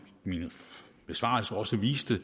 min besvarelse også viste